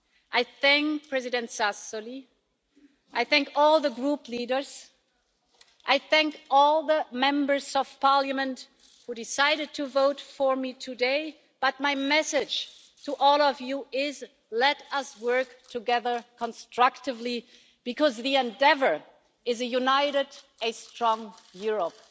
I thank President Sassoli, I thank all the group leaders, I thank all the Members of Parliament who decided to vote for me today, but my message to all of you is let us work together constructively because the endeavour is a united and a strong Europe.